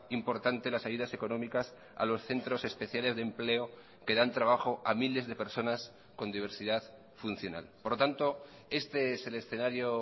importante las ayudas económicas a los centros especiales de empleo que dan trabajo a miles de personas con diversidad funcional por lo tanto este es el escenario